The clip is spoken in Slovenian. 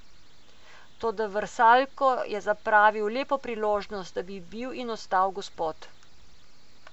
Toda Vrsaljko je zapravil lepo priložnost, da bi bil in ostal gospod.